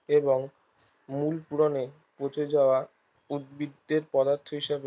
এবং মূল পূরণের পচে যাওয়া উদ্ভিদদের পদার্থ হিসেবে